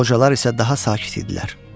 Qocalar isə daha sakit idilər.